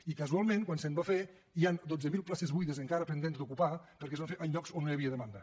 i casualment quan se va fer hi han dotze mil places buides encara pendents d’ocupar perquè es van fer en llocs on no hi havia demanda